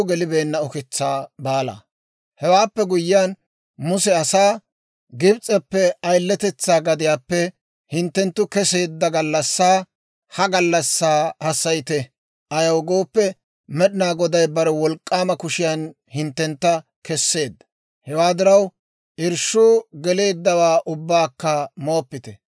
Hewaappe guyyiyaan Muse asaa, «Gibs'eppe, ayiletetsaa gadiyaappe hinttenttu kesseedda gallassaa, ha gallassaa hassayite; ayaw gooppe, Med'inaa Goday bare wolk'k'aama kushiyaan hinttentta kesseedda; hewaa diraw, irshshuu geleeddawaa ubbakka mooppite.